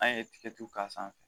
An ye tigɛtu k'a sanfɛ